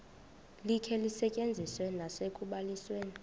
likhe lisetyenziswe nasekubalisweni